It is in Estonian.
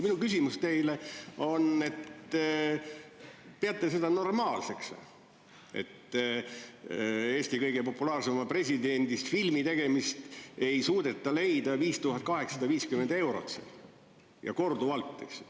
Minu küsimus teile on see, et kas te peate seda normaalseks, et Eesti kõige populaarsemast presidendist filmi tegemiseks ei suudeta leida 5850 eurot ja korduvalt.